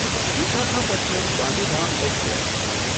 Visakhapatnam Gandhidham express